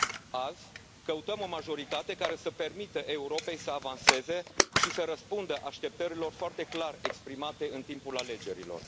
Azi, căutăm o majoritate care să permită Europei să avanseze și să răspundă așteptărilor foarte clar exprimate în timpul alegerilor.